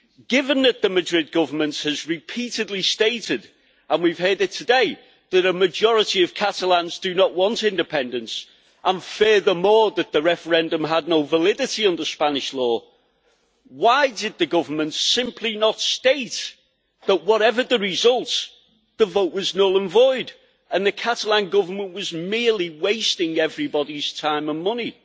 Given that the Madrid Government has repeatedly stated, and we have heard it today, that a majority of Catalans do not want independence, and furthermore that the referendum had no validity under Spanish law, why did the government not simply state that whatever the result, the vote was null and void, and the Catalan Government was merely wasting everybody's time and money?